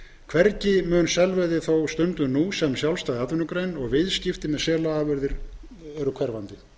hvergi mun selveiði þó stunduð sem sjálfstæð atvinnugrein og viðskipti með selaafurðir eru hverfandi